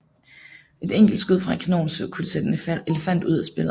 Et enkelt skud fra en kanon kunne sætte en elefant ud af spillet